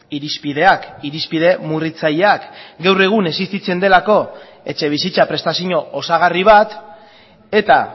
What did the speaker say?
irizpideak irizpide murritzaileak gaur egun existitzen delako etxebizitza prestazio osagarri bat eta